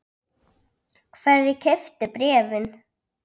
Hverjir keyptu bréfin?